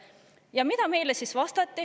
Ja mida meile vastati?